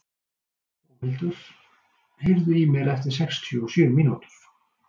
Dómhildur, heyrðu í mér eftir sextíu og sjö mínútur.